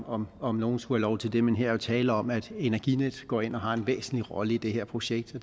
om om nogen skulle have lov til det men her er jo tale om at energinet går ind og har en væsentlig rolle i det her projekt